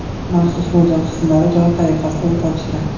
Maxsus mo‘ljal qismlari javob tariqasida o‘t ochdi.